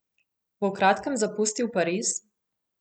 Bo v kratkem zapustil Pariz?